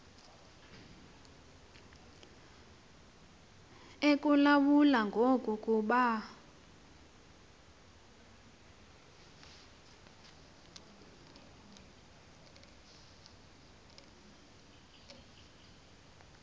ekulawula ngoku kuba